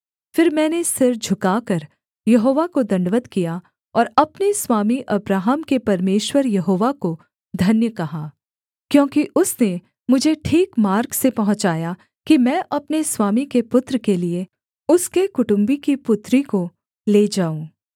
फिर मैंने सिर झुकाकर यहोवा को दण्डवत् किया और अपने स्वामी अब्राहम के परमेश्वर यहोवा को धन्य कहा क्योंकि उसने मुझे ठीक मार्ग से पहुँचाया कि मैं अपने स्वामी के पुत्र के लिये उसके कुटुम्बी की पुत्री को ले जाऊँ